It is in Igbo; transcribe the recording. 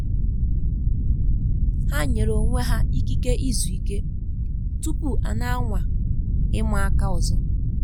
Ha nyere onwe ha ikike izu ike tupu a na anwa ịma aka ọzọ